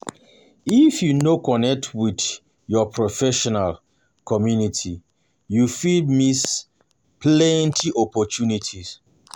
If you no connect with your professional community, you fit miss plenty opportunities.